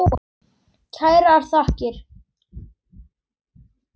Kærar þakkir